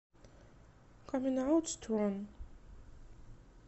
камин аут стронг